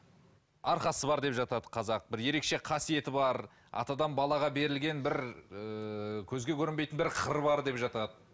арқасы бар деп жатады қазақ бір ерекше қасиеті бар атадан балаға берілген бір ыыы көзге көрінбейтін бір қыры бар деп жатады